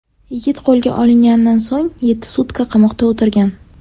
Yigit qo‘lga olinganidan so‘ng yetti sutka qamoqda o‘tirgan.